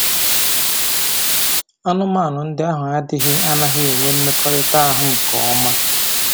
Anụmanụ ndị ahụ adịghị anaghị enwe mmekọrịta ahụ nke ọma